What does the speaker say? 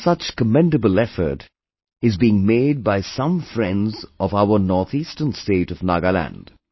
One such commendable effort is being made by some friends of our northeastern state of Nagaland